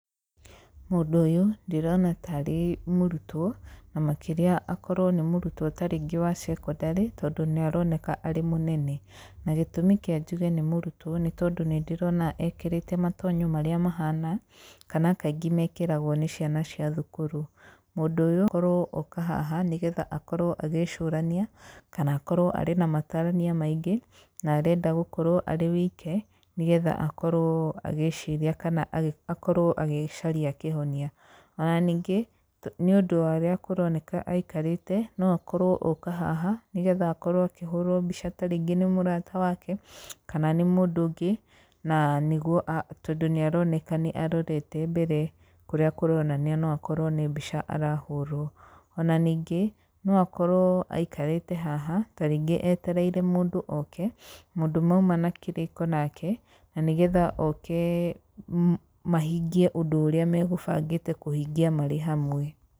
Mũndũ ũyũ ndĩrona tarĩ mũrũtwo na makĩria akorwo nĩ mũrũtwo tarĩngĩ wa secondary tondũ niaroneka arĩ mũnene. Na gĩtũmi kĩa njũge nĩ mũrũtwo, nĩtondũ nĩndĩrona ekĩrĩte matonyo marĩa mahana kana kaingĩ makĩragwo nĩ ciana cia thũkũru. Mũndũ ũyũ tokorwo oka haha nĩgetha akorwo agĩcũrania kana akorwo arĩ na matarania maingĩ, na arenda gũkorwo arĩ wike, nigetha akorwo agĩciria kana akorwo agĩcaria kĩhonia. Ona ningĩ, niũndũ wa ũrĩa kũroneka aikarĩte noakorwo oka haha, nĩgetha akorwo akĩhũrwo mbica tarĩngĩ nĩ mũrata wake, kana nĩ mũndũ ũngĩ na nĩgũo, a tondũ nĩaroneka nĩarorete mbere, kũrĩa kũronania noakorwo nĩ mbica arahũrwo. Ona ningĩ, noakorwo aikarĩte haha tarĩngĩ etereire mũndũ oke, mũndũ maũma na kĩrĩko nake na nĩ getha okee mahingie ũndũ ũrĩa magũbangĩte kũhingia marĩ hamwe.